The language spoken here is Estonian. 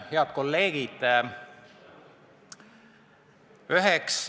Head kolleegid!